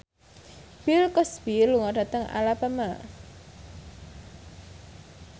Bill Cosby lunga dhateng Alabama